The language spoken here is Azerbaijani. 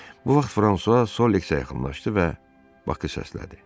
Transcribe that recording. Bu vaxt Fransua Soliksə yaxınlaşdı və Baxı səslədi.